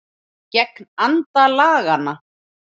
Gegn anda laganna